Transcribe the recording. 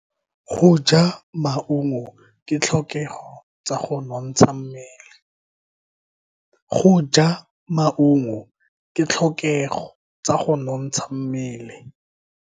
Go ja maungo ke ditlhokego tsa go nontsha mmele.